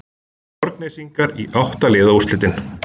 Borgnesingar í átta liða úrslitin